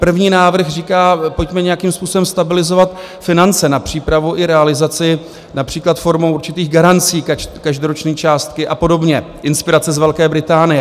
První návrh říká: pojďme nějakým způsobem stabilizovat finance na přípravu i realizaci, například formou určitých garancí každoroční částky a podobně - inspirace z Velké Británie.